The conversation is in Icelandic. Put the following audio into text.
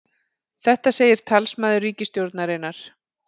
Þetta segir talsmaður ríkisstjórnarinnar